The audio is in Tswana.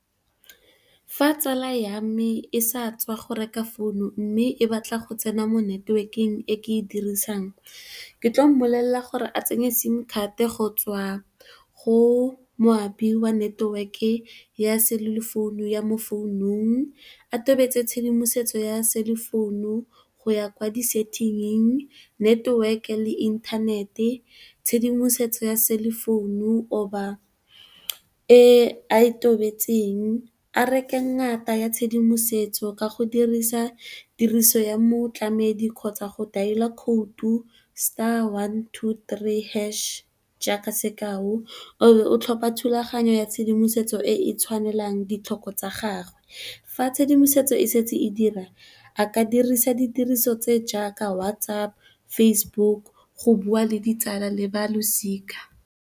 Fa tsala ya me e sa tswa go reka founu mme e batla go tsena mo network e ke e dirisang ke tlo molelela gore a tsenye sim-card go tswa go moapi wa network ya selefounu ya mo selefounung, a tobetse tshedimosetso ya selefounu go ya kwa di setting, network le inthanete, tshedimosetso ya selefounu goba e a e tobeditseng. A reke e ngata ya tshedimosetso ka go dirisa tiriso ya motlamedi, kgotsa go daela khoutu, star, one, two, three hash. Kaaka sekao, o tlhopha thulaganyo ya tshedimosetso e e tshwanelang ditlhoko tsa gagwe fa tshedimosetso e setse e dira, a ka dirisa ditiriso tse jaaka WhatsApp, Facebook go bua le ditsala le ba losika.